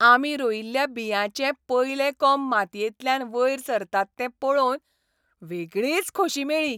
आमी रोयिल्ल्या बियांचे पयले कोंब मातयेंतल्यान वयर सरतात ते पळोवन वेगळीच खोशी मेळ्ळी.